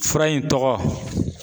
Fura in tɔgɔ